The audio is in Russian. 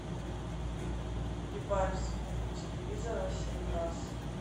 прибавь звук у телевизора семь раз